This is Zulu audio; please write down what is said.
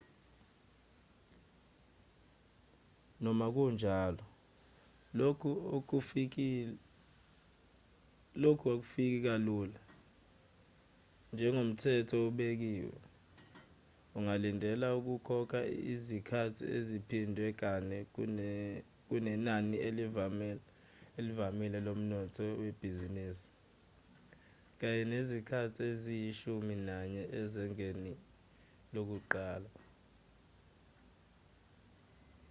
noma kunjalo lokhu akufiki kalula njengomthetho obekiwe ungalindela ukukhokha izikhathi eziphindwe kane kunenani elivamile lomnotho webhizinisi kanye nezikhathi eziyishumi nanye ezingeni lokuqala